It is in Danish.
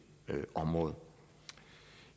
område